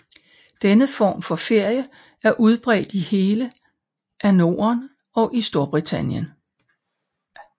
Denne form for ferie er udbredt i hele af Norden og i Storbritannien